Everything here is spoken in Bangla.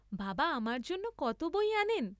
বাবা আমার জন্যে কত বই আনেন।